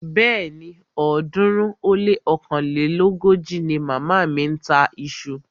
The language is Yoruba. Bẹ́ẹ̀ni, ọ̀ọ́dúnrún ó lé ọ̀kánlélógójì ni màmá mi ń ta iṣu